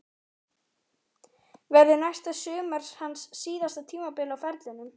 Verður næsta sumar hans síðasta tímabil á ferlinum?